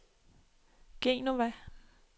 Genova